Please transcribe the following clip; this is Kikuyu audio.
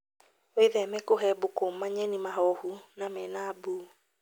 Wĩtheme kũhe mbũkũ manyeni mahohu na mena mbu